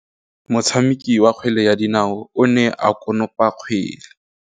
Motshameki wa kgwele ya dinaô o ne a konopa kgwele.